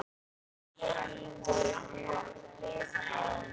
Sigrid hlær.